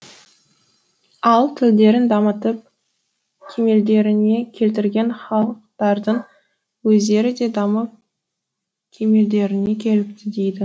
ал тілдерін дамытып кемелдеріне келтірген халықтардың өздері де дамып кемелдеріне келіпті дейді